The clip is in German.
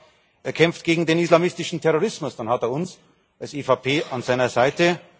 Wenn er sagt, er kämpft gegen den islamistischen Terrorismus, dann hat er uns als EVP an seiner Seite.